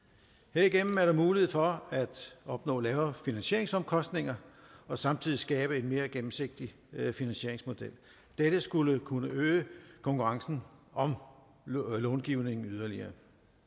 herigennem er der mulighed for at opnå lavere finansieringsomkostninger og samtidig skabe en mere gennemsigtig finansieringsmodel dette skulle kunne øge konkurrence om långivningen yderligere